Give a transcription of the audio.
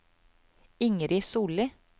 Ingrid Solli